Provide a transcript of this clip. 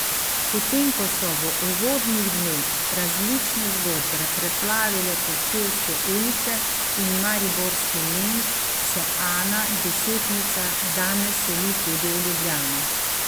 Potem ko so v uvodnih dneh različne zgodbe preplavile kočevske ulice in Mariborski Lent, se Ana Desetnica danes seli tudi v Ljubljano.